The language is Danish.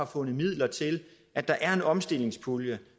fundet midler til at der er en omstillingspulje